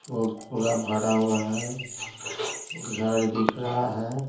फूल पूरा भरा हुआ है घर दिख रहा है।